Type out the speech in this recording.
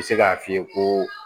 N bɛ se k'a f'i ye ko